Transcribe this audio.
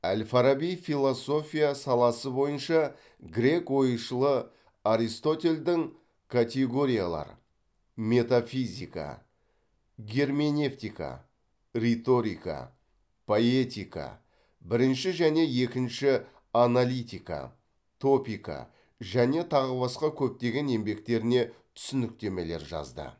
әл фараби философия саласы бойынша грек ойшылы аристотельдің категориялар метафизика герменевтика риторика поэтика бірінші және екінші аналитика топика және тағы басқа көптеген еңбектеріне түсініктемелер жазды